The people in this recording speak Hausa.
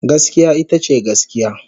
Gaskiya ita ce gaskiya.